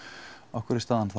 af hverju er staðan